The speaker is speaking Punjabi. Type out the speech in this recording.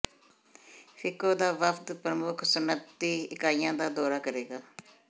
ਫ਼ਿਕੋ ਦਾ ਵਫ਼ਦ ਪ੍ਰਮੁੱਖ ਸਨਅਤੀ ਇਕਾਈਆਂ ਦਾ ਦੌਰਾ ਕਰੇਗਾ